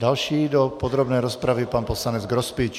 Další do podrobné rozpravy pan poslanec Grospič.